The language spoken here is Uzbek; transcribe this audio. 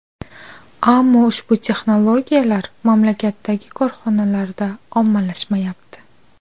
Ammo ushbu texnologiyalar mamlakatdagi korxonalarda ommalashmayapti.